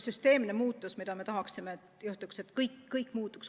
See muutus, mida me tahaksime, et juhtuks, on süsteemne muutus.